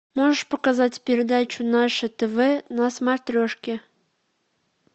можешь показать передачу наше тв на смотрешке